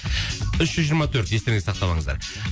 үш жүз жиырма төрт естеріңізге сақтап алыңыздар